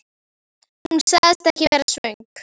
Hún sagðist ekki vera svöng.